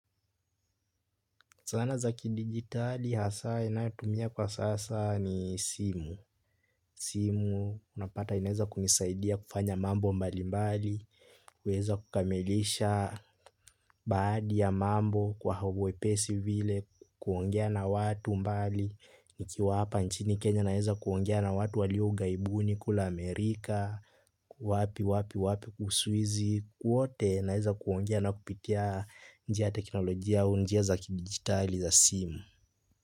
Zana za kidigitali hasaa ninayotumia kwa sasa ni simu. Simu unapata inaweza kunisaidia kufanya mambo mbalimbali. Kuweza kukamilisha baadhi ya mambo kwa uwepesi vile. Kuongea na watu mbali. Nikiwa hapa nchini Kenya naweza kuongea na watu walio ughaibuni kule Amerika. Wapi wapi wapi Uswizi. Kwote naweza kuongea na kupitia njia ya teknolojia au njia za kidigitali za simu.